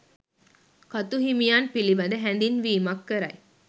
කතු හිමියන් පිළිබඳ හැදින්වීමක් කරයි.